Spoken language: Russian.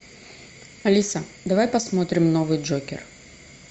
алиса давай посмотрим новый джокер